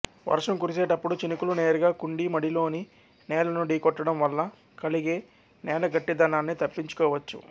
వర్షం కురిసేటప్పుడు చినుకులు నేరుగా కుండీ మడిలోని నేలను ఢీకొట్టడం వల్ల కలిగే నేలగట్టిదనాన్ని తప్పించుకోవచ్చు